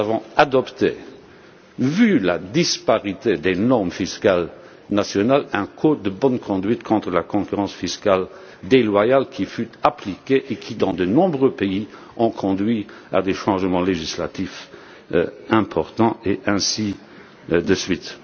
Nous avons adopté, face à la disparité des normes fiscales nationales, un code de bonne conduite contre la concurrence fiscale déloyale, qui a été appliqué et qui, dans de nombreux pays, a conduit à des changements législatifs importants, et ainsi de suite.